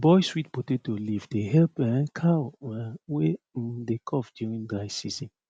boil sweet potato leaf dey help um cow um wey um dey cough during dry season